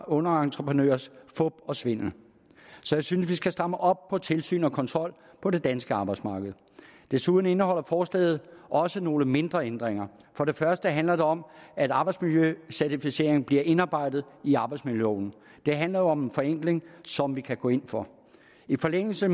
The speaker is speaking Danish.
underentreprenørers fup og svindel så jeg synes at vi skal stramme op på tilsyn og kontrol på det danske arbejdsmarked desuden indeholder forslaget også nogle mindre ændringer for det første handler det om at arbejdsmiljøcertificeringen bliver indarbejdet i arbejdsmiljøloven det handler om en forenkling som vi kan gå ind for i forlængelse af